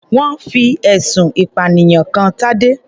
Wọ́n fi ẹ̀sùn ìpànìyàn kan Tadé.